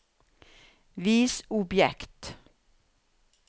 vis objekt